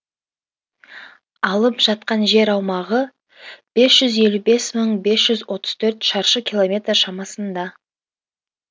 алып жатқан жер аумағы бес жүз елу бес мың бес жүз отыз төрт шаршы километр шамасында